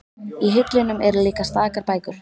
Í hillunum eru líka stakar bækur.